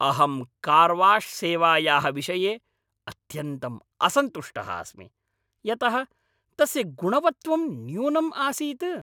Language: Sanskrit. अहं कार्वाश्सेवायाः विषये अत्यन्तं असन्तुष्टः अस्मि, यतः तस्य गुणवत्वं न्यूनम् आसीत्।